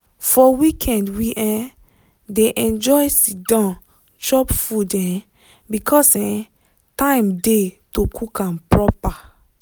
for weekend we um dey enjoy siddon chop food um because um time dey to cook am proper.